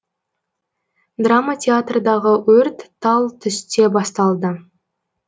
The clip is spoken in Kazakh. драма театрдағы өрт тал түсте басталды